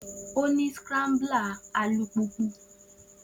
O si ní a scrambler alupupu.